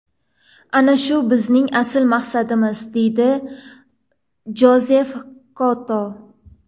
Ana shu bizning asl maqsadimiz”, deydi Jozef Koto.